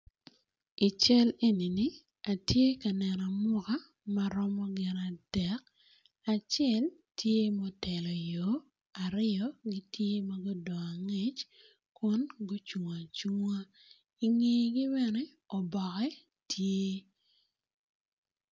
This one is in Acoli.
Ical enini atye ka neno amuka maromo gin adek acel tye motelo yo aryo gitye magudong angec kun gucung acunga ingegi bene oboke tye.